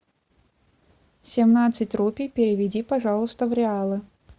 семнадцать рупий переведи пожалуйста в реалы